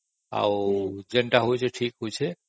ଆଉ ଯାହା ବି ହଉଚି ଠିକ ହଉଚି